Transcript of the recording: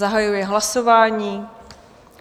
Zahajuji hlasování.